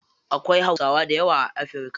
Akwai hausawa dayawa a afirka.